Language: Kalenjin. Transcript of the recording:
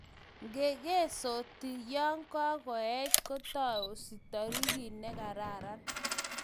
Ngengetsoti yo kaech kotiensot taritik negararan